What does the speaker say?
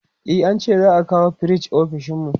e an ce za'a kawo firij ofishinmu